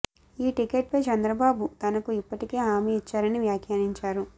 ఈ టికెట్ పై చంద్రబాబు తనకు ఇప్పటికే హామీ ఇచ్చారని వ్యాఖ్యానించారు